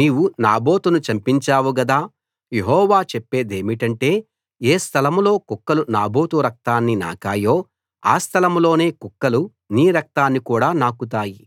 నీవు నాబోతును చంపించావు గదా యెహోవా చెప్పేదేమిటంటే ఏ స్థలం లో కుక్కలు నాబోతు రక్తాన్ని నాకాయో ఆ స్థలం లోనే కుక్కలు నీ రక్తాన్ని కూడా నాకుతాయి